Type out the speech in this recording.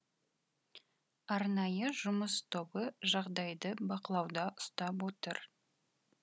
арнайы жұмыс тобы жағдайды бақылауда ұстап отыр